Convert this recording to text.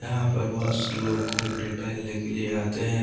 यहां पर बहुत से लोग घूमने टहलने के लिए आते हैं।